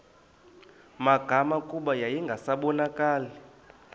magama kuba yayingasabonakali